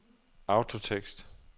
autotekst